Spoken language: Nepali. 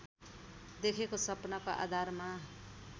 देखेको सपनाको आधारमा